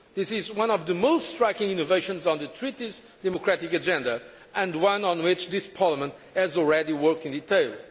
This is one of the most striking innovations on the Treaty's democratic agenda and one on which this Parliament has already worked in